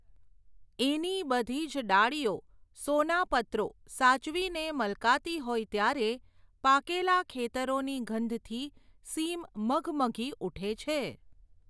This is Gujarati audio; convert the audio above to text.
એની બધીજ ડાળીઓ, સોનાપત્રો, સાચવીને મલકાતી હોય ત્યારે, પાકેલાં ખેતરોની ગંધથી સીમ મઘમઘી ઊઠે છે.